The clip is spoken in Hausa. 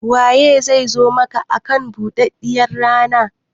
Waye zai zo maka akan buɗaɗɗiyar rana?